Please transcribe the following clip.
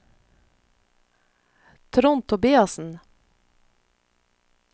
Trond Tobiassen